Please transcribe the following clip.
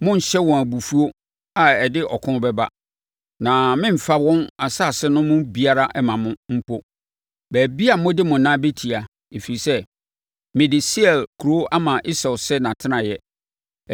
Monnhyɛ wɔn abufuo a ɛde ɔko bɛba, na meremfa wɔn nsase no mu biara mma mo; mpo, baabi a mode mo nan bɛtia, ɛfiri sɛ, mede Seir bepɔ kuro ama Esau sɛ nʼatenaeɛ.